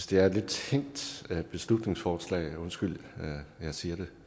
det er et lidt tænkt beslutningsforslag undskyld at jeg siger det